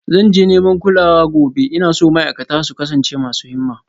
Zan je neman kulawa gobe, ina so ma'aikata su kasance masu himma